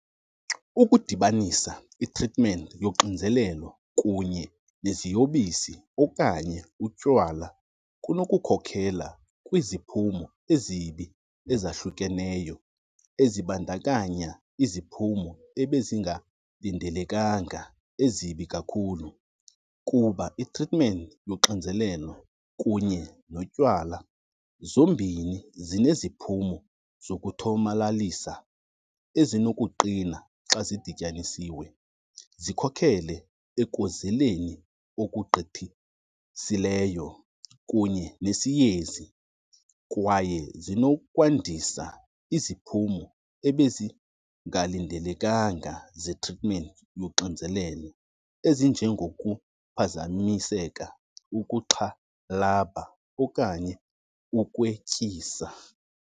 Ukudibanisa i-treatment yoxinzelelo kunye neziyobisi okanye utywala kunokukhokhela kwiziphumo ezibi ezahlukeneyo, ezibandakanya iziphumo ebezingalindelekanga ezibi kakhulu. Kuba i-treatment yoxinzelelo kunye notywala zombini zineziphumo zokuthomalalisa ezinokuqina xa zidityanisiwe, zikhokhele ekozeleni okugqithisileyo kunye nesiyezi. Kwaye zinokwandisa iziphumo ebezingalindelekanga ze-treatment yoxinzelelo ezinjengokuphazamiseka, ukuxhalaba okanye ukwetyisa.